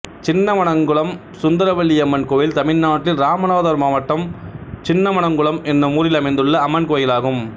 சின்னமனக்குளம் சுந்தரவள்ளியம்மன் கோயில் தமிழ்நாட்டில் இராமநாதபுரம் மாவட்டம் சின்னமனக்குளம் என்னும் ஊரில் அமைந்துள்ள அம்மன் கோயிலாகும்